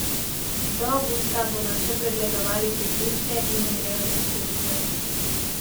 Do avgusta bodo še pregledovali priključke in urejali števce.